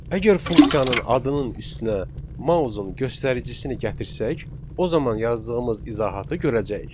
Əgər funksiyanın adının üstünə mausun göstəricisini gətirsək, o zaman yazdığımız izahatı görəcəyik.